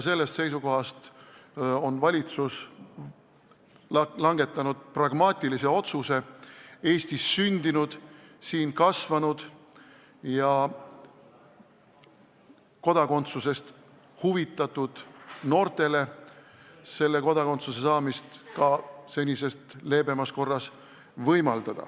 Sellest seisukohast on valitsus langetanud pragmaatilise otsuse võimaldada Eestis sündinud, siin kasvanud ja meie kodakondsusest huvitatud noortele selle kodakondsuse saamist senisest leebemas korras.